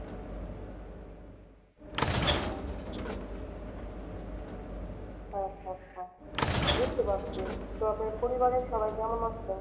আচ্ছা আচ্ছা। বুঝতে পারছি, তো আপনার পরিবারের সবাই কেমন আছে?